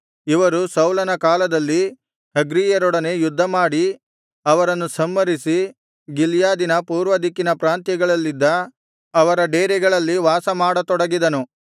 ಇವರು ಸೌಲನ ಕಾಲದಲ್ಲಿ ಹಗ್ರೀಯರೊಡನೆ ಯುದ್ಧಮಾಡಿ ಅವರನ್ನು ಸಂಹರಿಸಿ ಗಿಲ್ಯಾದಿನ ಪೂರ್ವದಿಕ್ಕಿನ ಪ್ರಾಂತ್ಯಗಳಲ್ಲಿದ್ದ ಅವರ ಡೇರೆಗಳಲ್ಲಿ ವಾಸಮಾಡ ತೊಡಗಿದನು